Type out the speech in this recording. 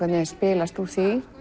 spilast úr